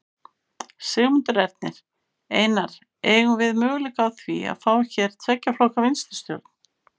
Sigmundur Ernir: Einar, eygjum við möguleika á því að fá hér tveggja flokka vinstristjórn?